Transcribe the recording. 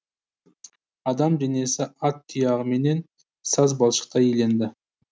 адам денесі ат тұяғыменен саз балшықтай иленді